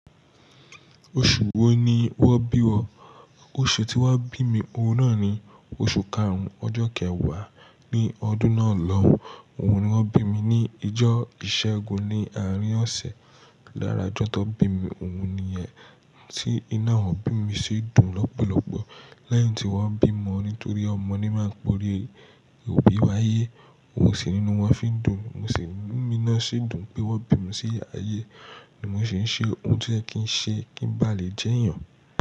Oṣù wo ni wọ́n bí ọ? Oṣù tí wọ́n bí mi, òun náà ni oṣù karùn-ún ọjọ́ kẹwàá ní ọdún náà lọ. Òun ni wọ́n bí mi ní ìjọ ìṣẹ́gun ní àárín ọ̀sẹ̀. Lára ọjọ́ tó bí mi, òun ni ẹni tí inu awọ́n obí mi ṣi dùn lọ́pọ̀lọ́pọ̀. Lẹ́yìn tí wọ́n bí mọ, nítorí ọmọ ni máa ń pọ̀ri, òbí wáyé, òun sì ínú wọn fi ń dùn. Mo sì n inu mi náà sí dùn pé wọ́n bí mi sí ayé, ni mo sì ń ṣe ohun to yẹ kì ń ṣe kí n ba lè jẹ́ èèyàn.